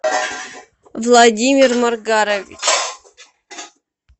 владимир маргарович